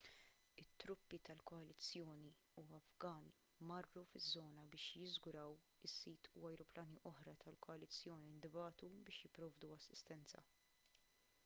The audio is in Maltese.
it-truppi ta' koalizzjoni u afgani marru fiż-żona biex jiżguraw is-sit u ajruplani oħra tal-koalizzjoni ntbagħtu biex jipprovdu assistenza